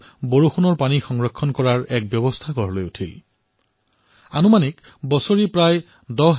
কিছু স্থানত গণেশ চতুৰ্থীক লৈ প্ৰস্তুতি আৰম্ভ হৈছে